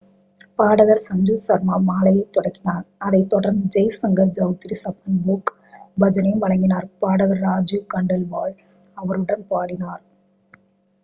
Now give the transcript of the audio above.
பாடகர் சஞ்சு சர்மா மாலையைத் தொடங்கினார் அதைத் தொடர்ந்து ஜெய் ஷங்கர் செளத்ரி சப்பன் போக் பஜனையும் வழங்கினார் பாடகர் ராஜு கண்டேல்வால் அவருடன் பாடினார்